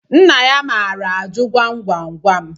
Nna ya maara ajụ gwam gwam gwam